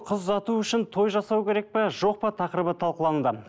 қыз ұзату үшін той жасау керек пе жоқ па тақырыбы талқылануда